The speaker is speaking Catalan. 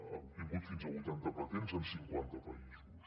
ha obtingut fins a vuitanta patents en cinquanta països